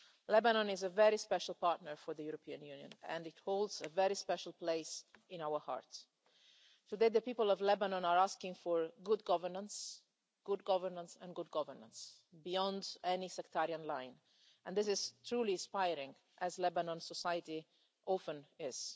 Lebanon is a very special partner for the European Union and it holds a very special place in our heart. Today, the people of Lebanon are asking for good governance, good governance and good governance, beyond any sectarian line, and this is truly inspiring, as Lebanon society often